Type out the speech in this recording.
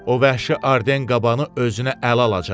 O vəhşi Arden qabanı özünə əl alacaq.